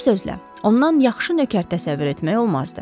Bir sözlə, ondan yaxşı nökər təsəvvür etmək olmazdı.